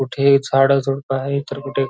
हे कुठे झाड झुडूप आहेत तर कुठे--